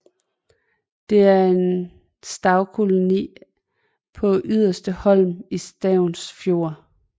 Der er en skarvkoloni på Yderste Holm i Stavns Fjord